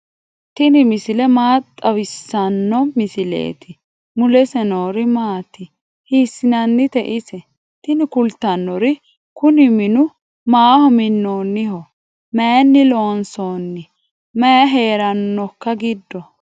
tini maa xawissanno misileeti ? mulese noori maati ? hiissinannite ise ? tini kultannori kuni minu maaho minnoonniho maynni loonsoonni mayi heerannoikka giddo